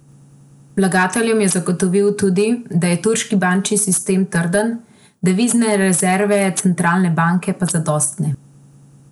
Vlagateljem je zagotovil tudi, da je turški bančni sistem trden, devizne rezerve centralne banke pa zadostne.